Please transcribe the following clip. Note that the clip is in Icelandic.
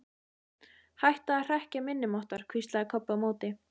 Hætta að hrekkja minni máttar, hvíslaði Kobbi á móti.